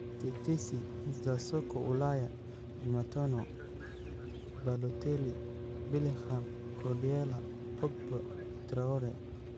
Tetesi za soka Ulaya Jumatano: Balotelli, Bellingham, Guardiola, Pogba, Traore